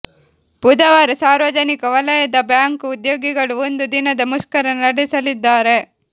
ಬುಧವಾರ ಸಾರ್ವಜನಿಕ ವಲಯದ ಬ್ಯಾಂಕ್ ಉದ್ಯೋಗಿಗಳು ಒಂದು ದಿನದ ಮುಷ್ಕರ ನಡೆಸಲಿದ್ದಾರೆ